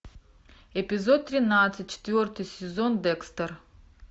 эпизод тринадцать четвертый сезон декстер